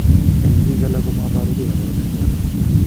En biik alak komaboru gee kabarunaik choton